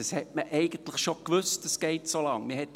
Man wusste eigentlich schon, dass das so lange geht.